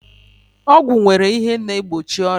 Ọgwụ nwere ihe na egbochi ọrịa